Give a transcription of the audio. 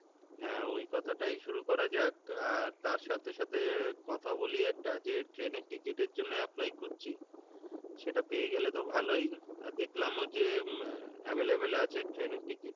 হ্যাঁ ওই কথাটাই শুরু করা যাক তা তার সাথে সাথে কথা বলি একটা যে train এর ticket এর জন্য apply করছি সেটা পেয়ে গেলে তো ভালোই আর দেখলামও যে উম আহ available আছে train এর ticket,